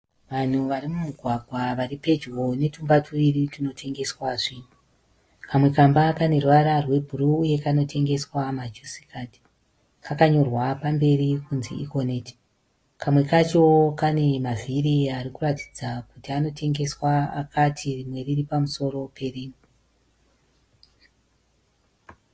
Vanhu mumugwagwa varipedyo netumba tuviri tunotengeswa zvinhu. Kamwe kamba kaneruvara rwebhuruu uye kanotengeswa majusikadhi kakanyorwa pamberi kuti Ekoneti. Kamwe kacho kanemavhiri arikuratidza kuti anotengesea akati rimwe riripamusoro perimwe.